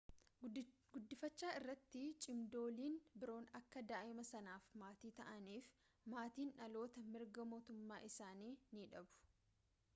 guddifachaa irratti cimdooliin biroon akka daa'ima sanaaf maatii ta'aniif maatiin dhalootaa mirga maatummaa isanii ni dhabu